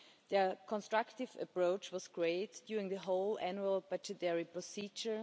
Their constructive approach was great during the whole annual budgetary procedure.